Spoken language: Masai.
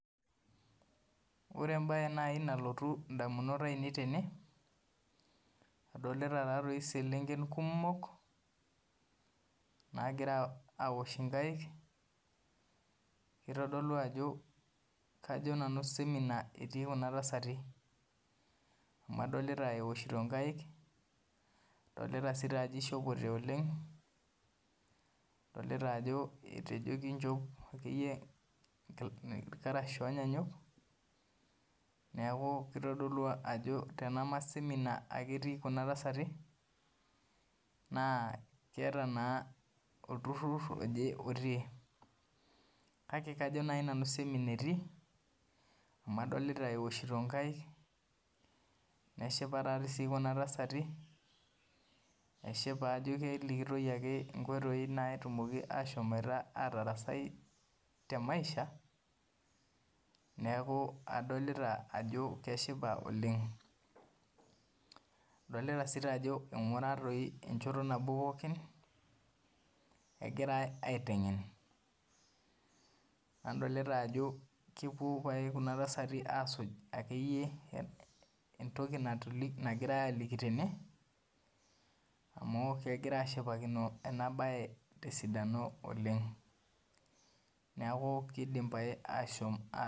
Ore embaye naaji nelotu indamunot ain't tene adolita iselenken kumok naagira aaosh inkai naa kajo nanu semina etii kuna tasati adolita ajo ejo kinchop irkash oonyaanyuk neeku teme semina etii kuna tasati naa keeta olturur otii kake kajo naaji nanu semina etii amu adolit aeoshito enkaik esipa ajo kelikini eneiko peetum ashom atarasai temaisha neeku adolita ajo keshipa oleng adolita ajo eingura enjoyo nabo pooki egirai aiteng'en kepuo kuna tasati aibung enegirai aajoki tena neeku keidim aasho.